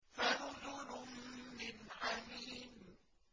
فَنُزُلٌ مِّنْ حَمِيمٍ